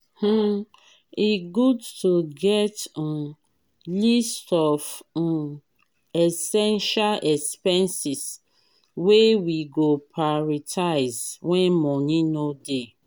um e good to get um list of um essential expenses wey we go prioritize wen money no dey.